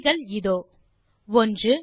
விடைகள் இதோ 1